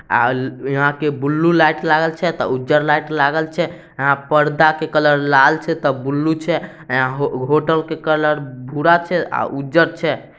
यहाँ के blue light लागल छै त उज्जर लाइट लागल छैयहां पर्दा के कलर लाल छै त बुल्लु छै होटल के कलर भूरा छै आ उज्जर छै।